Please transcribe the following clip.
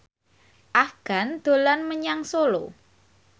Afgan dolan menyang Solo